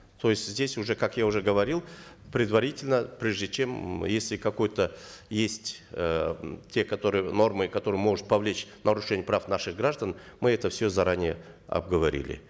то есть здесь уже как я уже говорил предварительно прежде чем если какой то есть э те которые нормы которые может повлечь нарушения прав наших граждан мы это все заранее обговорили